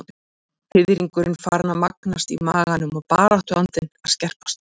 Fiðringurinn farinn að magnast í maganum og baráttuandinn að að skerpast.